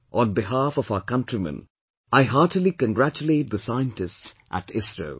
On behalf of our countrymen, I heartily congratulate the scientists at ISRO